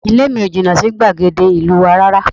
Ilé mi ò jìnnà sí gbàgede ìlú wa rárá